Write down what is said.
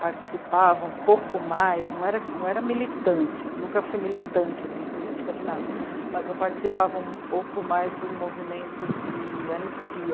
participava um pouco mais, não era, não era militante, nunca fui militante em política de nada, mas eu participava um pouco mais do movimento de anistia.